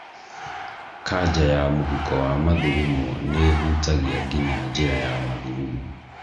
Kanja ya mũhuko wa mathugumo nĩũhutagia nginyagia njĩra ya mathugumo